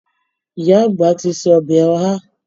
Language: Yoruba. Ìyá àgbà ti se ọbẹ̀ Oha